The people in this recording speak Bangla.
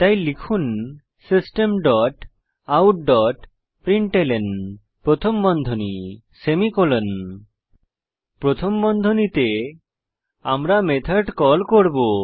তাই লিখুন system dot out dot println প্রথম বন্ধনী সেমিকোলন প্রথম বন্ধনীতে আমরা মেথড কল করব